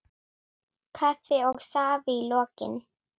Kaffi og safi í lokin.